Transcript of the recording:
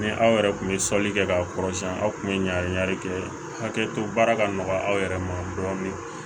Ni aw yɛrɛ tun ye sɔli kɛ k'a kɔrɔ siɲɛ aw kun bɛ ɲagami kɛ hakɛ to baara ka nɔgɔya aw yɛrɛ ma dɔɔnin